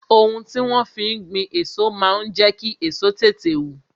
Ohun tí wón fi ń gbin èso máa ń jẹ kí èso tètè wù